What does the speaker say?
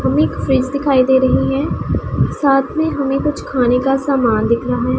हमें एक फ्रिज दिखाई दे रही है साथ में हमें कुछ खाने का सामान दिख रहा है।